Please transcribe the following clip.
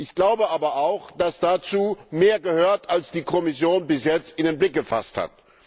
Ich glaube aber auch, dass dazu mehr gehört als die Kommission bis jetzt in den Blick gefasst hat.